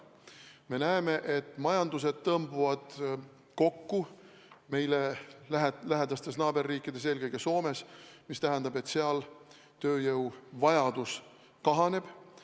Me näeme, et majandus tõmbub meile lähedastes naaberriikides, eelkõige Soomes kokku, mis tähendab, et seal tööjõuvajadus kahaneb.